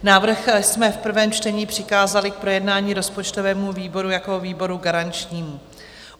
Návrh jsme v prvém čtení přikázali k projednání rozpočtovému výboru jako výboru garančnímu.